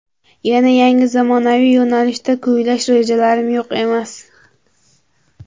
Yana yangi zamonaviy yo‘nalishda kuylash rejalarim yo‘q emas.